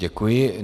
Děkuji.